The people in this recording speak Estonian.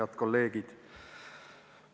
Head kolleegid!